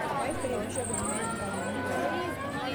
Ore pisha openy neme enkatini pookin